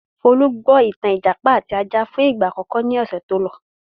Folú gbọ́ ìtàn 'Ìjàpá àti Ajá' fún ìgbà àkọ́kọ́ ní ọ̀sẹ̀ tó lọ.